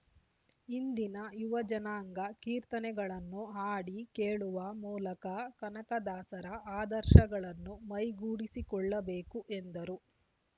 ಇಂದಿನ ಯುವ ಜನಾಂಗ ಕೀರ್ತನೆಗಳನ್ನು ಹಾಡಿ ಕೇಳುವ ಮೂಲಕ ಕನಕದಾಸರ ಆದರ್ಶಗಳನ್ನು ಮೈಗೂಡಿಸಿಕೊಳ್ಳಬೇಕು ಎಂದರು